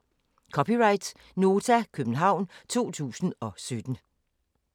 (c) Nota, København 2017